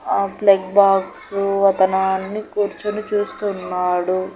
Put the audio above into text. ఆ plug box అతను అన్నీ కూర్చొని చూస్తున్నాడు.